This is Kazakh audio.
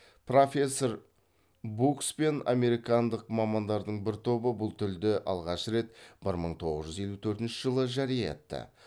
профессор букс пен американдық мамандардың бір тобы бұл тілді алғаш рет бір мың тоғыз жүз елу төртінші жылы жария етті